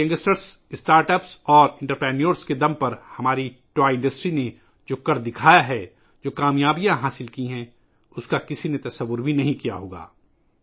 ہماری کھلونا صنعت نے ، جو کامیابی ہمارے نوجوانوں، اسٹارٹ اپس اور کاروباری افراد کی وجہ سے حاصل کی ہے ، اس کا کوئی تصور بھی نہیں کرسکتا تھا